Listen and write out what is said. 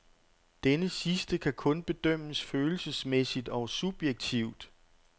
Denne sidste kan kun bedømmes følelsesmæssigt og subjektivt.